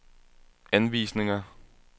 anvisninger